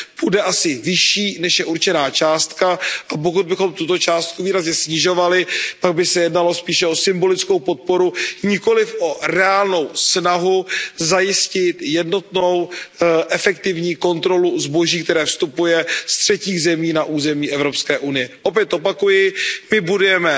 bude asi vyšší, než je určená částka, a pokud bychom tuto částku výrazně snižovali, pak by se jednalo spíše o symbolickou podporu, nikoliv o reálnou snahu zajistit jednotnou efektivní kontrolu zboží, které vstupuje ze třetích zemí na území EU. Opět opakuji, my budujeme